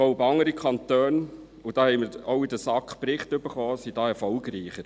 Ich glaube, andere Kantone – dazu haben wir in der SAK auch Berichte erhalten – sind da erfolgreicher.